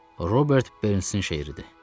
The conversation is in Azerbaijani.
Robert Bernsin şeiridir.